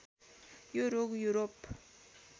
यो रोग युरोप